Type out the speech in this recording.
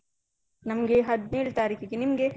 ನಮ್ಗೆ ಹದ್ನೇಲ್ ತಾರೀಖಿಗೆ, ನಿಮ್ಗೆ?